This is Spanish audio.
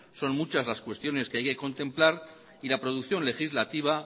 son muchas las cuestiones que hay que contemplar y la producción legislativa